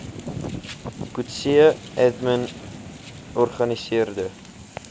coetzee admin organiseerde